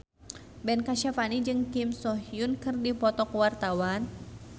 Ben Kasyafani jeung Kim So Hyun keur dipoto ku wartawan